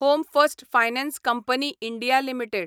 home first finance company India limited